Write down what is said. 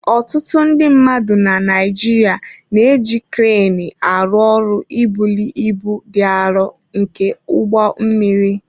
Ọtụtụ ndị mmadụ na Naịjirịa, na-eji kreenị arụ ọrụ ibuli ibu dị arọ nke ụgbọ mmiri.